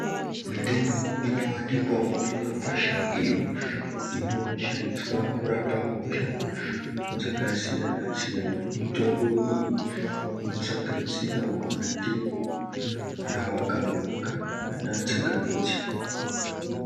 Mitombo inowanikwawo mumakwasha iyo inoshandiswa kurapa hosha dzakasiyana-siyana. Mitombo iyi inosanganisirawo mandimu, gavakava kana ana tsangamidzi.